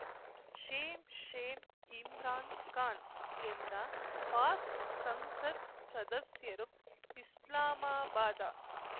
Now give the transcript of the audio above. Shem Shem Imran Khan ಎಂದ ಪಾಕ್‌ ಸಂಸತ್‌ ಸದಸ್ಯರು ಇಸ್ಲಾಮಾಬಾದ